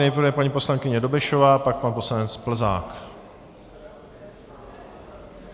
Nejprve paní poslankyně Dobešová, pak pan poslanec Plzák.